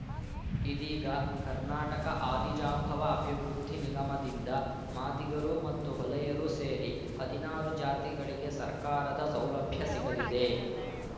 ಇದೀಗ ಕರ್ನಾಟಕ ಆದಿಜಾಂಬವ ಅಭಿವೃದ್ಧಿ ನಿಗಮದಿಂದ ಮಾದಿಗರು ಮತ್ತು ಹೊಲೆಯರು ಸೇರಿ ಹದಿನಾರು ಜಾತಿಗಳಿಗೆ ಸರ್ಕಾರದ ಸೌಲಭ್ಯ ಸಿಗಲಿದೆ